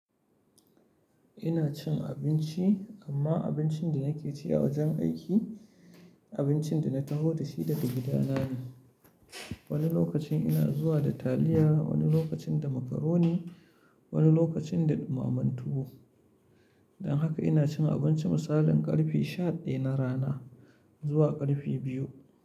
Ina cin abinci, amma abincin da nake ci a wajen aiki, abincin da na taho da shi daga gidana ne. Wani lokacin ina zuwa da taliya, wani lokacin da macaroni, wani lokacin da dumamen tuwo. Don haka ina cin abinci misalin karfe sha daya na rana zuwa karfe biyu.